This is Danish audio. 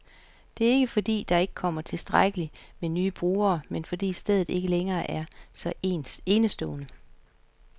Det er ikke, fordi der ikke kommer tilstrækkeligt med nye brugere, men fordi stedet ikke længere er så enestående.